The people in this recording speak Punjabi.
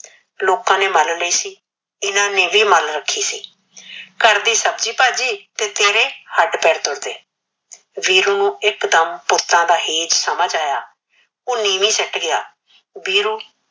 ਲੋਕਾ ਨੇ ਮਲ ਰਖੀ ਸੀ ਇਹਨਾ ਨੇ ਵੀ ਮਲ ਰਖੀ ਸੀ ਘਰ ਦੀ ਸਬਜੀ ਭਾਜੀ ਫਿਰ ਹੀ ਹੱਡ ਪੈਰ ਤੁਰਦੇ ਵੀਰੂ ਨੂ ਇਕ ਦਮ ਭੂਤਾ ਦਾ ਹੇਜ ਸਮਝ ਆਯਾ ਓਹ ਨੀਵੀ ਸ਼ੀਟ ਗਿਆ ਵੀਰੂ